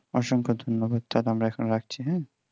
অসংখ্য ধন্যবাদ তাহলে আমরা রাখছি হাঁ